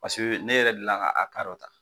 Peseke ne yɛrɛ deli ka a ka dɔ ta